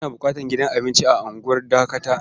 Ana buƙatar gidan abinci a unguwar Dakata.